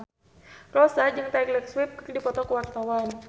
Rossa jeung Taylor Swift keur dipoto ku wartawan